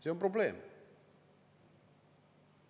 See on probleem.